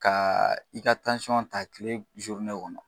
Ka i ka ta kile kɔnɔ